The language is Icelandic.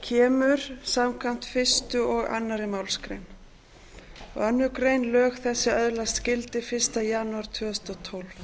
kemur samkvæmt fyrstu og annarri málsgrein annarrar greinar lög þessi öðlast gildi fyrsta janúar tvö þúsund og tólf ég